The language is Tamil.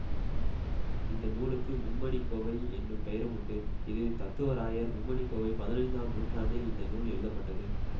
இந்த நூலுக்கு மும்மணிக்கோவை என்னும் பெயரும் உண்டு இது தத்துவராயர் மும்மணிக்கோவை பதினைந்தாம் நூற்றாண்டில் இந்த நூல் எழுதப்பட்டது